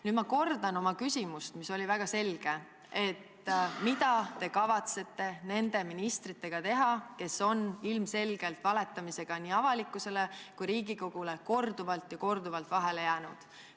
Nüüd ma kordan oma küsimust, mis oli väga selge: mida te kavatsete teha nende ministritega, kes on ilmselgelt nii avalikkusele kui ka Riigikogule valetamisega korduvalt ja korduvalt vahele jäänud?